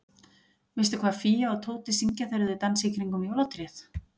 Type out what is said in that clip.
Veistu hvað Fía og Tóti syngja þegar þau dansa í kringum jólatréð?